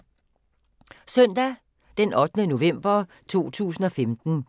Søndag d. 8. november 2015